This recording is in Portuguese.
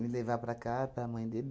levar para cá, para mãe dele.